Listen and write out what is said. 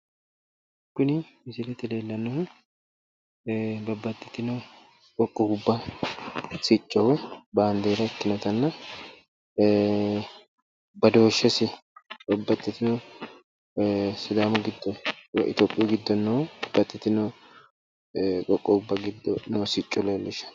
Kuni misilete aana noohu babbaxitino qoqqowubba sicco ikkasi leellishano